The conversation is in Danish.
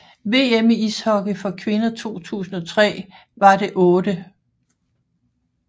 VM i ishockey for kvinder 2003 var det 8